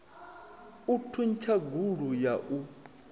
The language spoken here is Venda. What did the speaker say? u thuntsha gulu ya u